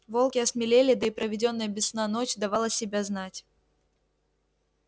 волки осмелели да и проведённая без сна ночь давала себя знать